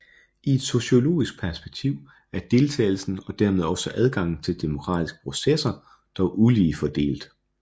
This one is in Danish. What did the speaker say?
I et sociologisk perspektiv er deltagelsen og dermed også adgangen til demokratiske processer dog ulige fordelt